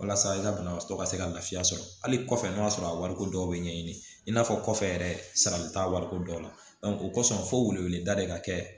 Walasa i ka banabaatɔ ka se ka lafiya sɔrɔ hali kɔfɛ n' y'a sɔrɔ a wariko dɔw bɛ ɲɛɲini i n'a fɔ kɔfɛ yɛrɛ sarali t'a wariko dɔ la o kɔsɔn fo wele da de ka kɛ